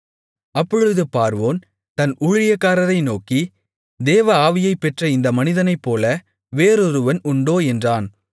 அப்பொழுது பார்வோன் தன் ஊழியக்காரரை நோக்கி தேவ ஆவியைப் பெற்ற இந்த மனிதனைப்போல வேறொருவன் உண்டோ என்றான்